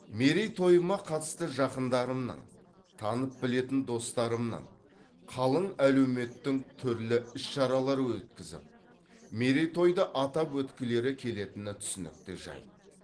мерейтойыма қатысты жақындарымның танып білетін достарымның қалың әлеуметтің түрлі іс шаралар өткізіп мерейтойды атап өткілері келетіні түсінікті жайт